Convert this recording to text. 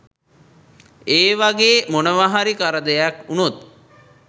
ඒ වාගේ මොනවාහරි කරදරයක් වුණොත්